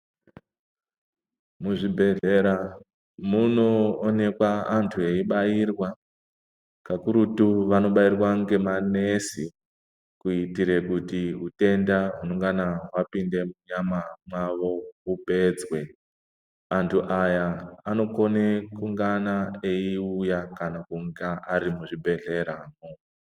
Muzvibhehlera munoonekwa antu vaibairwa kakurutu vanobairwa ngemanesi kuitirekuti utenda hunongana hwapinda munyama mwawo upedzwe antu aya anokone kungana eyiuya kana kunga ari muzvibhehleramwo.